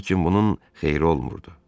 Lakin bunun xeyri olmurdu.